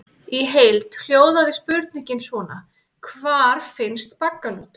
Í heild hljóðaði spurningin svona: Hvar finnst baggalútur?